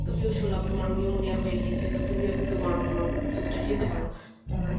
তুমিও শুনলাম তোমার pneumonia হয়ে গিয়েছে তো তুমিও গরম গরম soup টা খেতে পারো